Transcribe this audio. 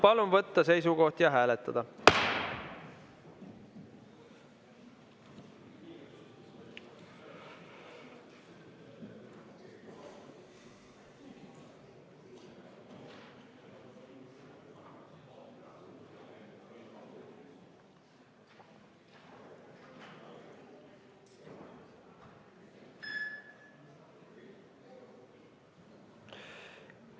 Palun võtta seisukoht ja hääletada!